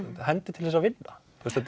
hendi til þess að vinna